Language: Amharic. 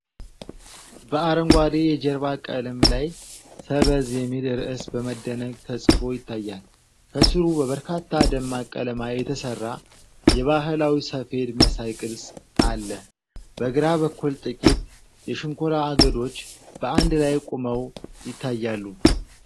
በአረንጓዴ የጀርባ ቀለም ላይ "ሰበዝ" የሚል ርዕስ በመደነቅ ተጽፎ ይታያል። ከስሩ በበርካታ ደማቅ ቀለማት የተሰራ የባህላዊ ሰፌድ መሳይ ቅርጽ አለ፤ በግራ በኩል ጥቂት የሸንኮራ አገዶች በአንድ ላይ ቆመው ይታያሉ።